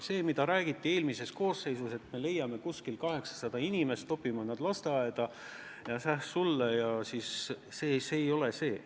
See, mida räägiti eelmises koosseisus, et me leiame 800 inimest ja saadame nad lasteaeda – see ei ole see!